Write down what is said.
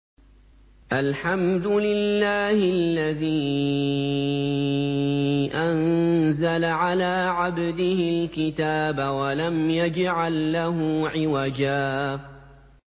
الْحَمْدُ لِلَّهِ الَّذِي أَنزَلَ عَلَىٰ عَبْدِهِ الْكِتَابَ وَلَمْ يَجْعَل لَّهُ عِوَجًا ۜ